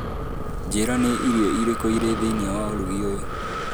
njĩra ni irio irikũ irĩ thĩinĩ wa ũrugi ũyu.